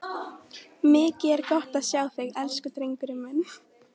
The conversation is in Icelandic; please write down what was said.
Mikið er gott að sjá þig, elsku drengurinn minn!